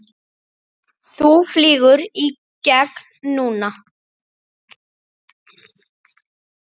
Þú flýgur í gegn núna!